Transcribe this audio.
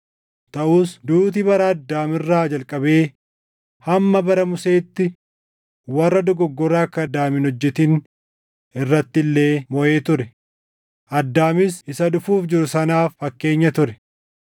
Taʼus duuti bara Addaam irraa jalqabee hamma bara Museetti warra dogoggora akka Addaam hin hojjetin irratti illee moʼee ture; Addaamis Isa dhufuuf jiru sanaaf fakkeenya ture.